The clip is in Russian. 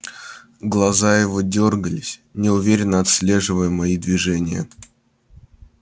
глаза его дёргались неуверенно отслеживая мои движения